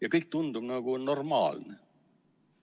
Ja kõik tundub nagu normaalne.